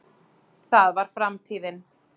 það var framtíðin.